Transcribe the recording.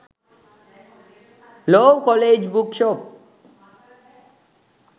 law college book shop